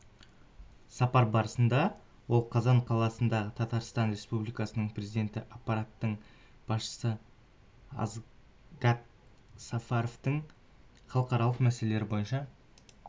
сапар барысында ол қазан қаласында татарстан республикасының президенті аппаратының басшысы асгат сафаровпен халықаралық мәселелер бойынша